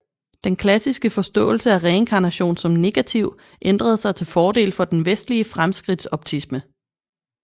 Den klassiske forståelse af reinkarnation som negativ ændrede sig til fordel for den vestlige fremskridtsoptisme